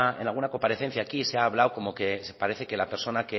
en alguna comparecencia aquí se ha hablado como que parece que la persona